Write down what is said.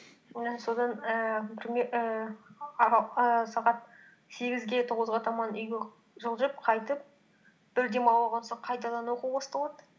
і содан ііі бір не ііі ііі сағат сегізге тоғызға таман үйге жылжып қайтып бір демалып алсақ қайтадан оқу басталады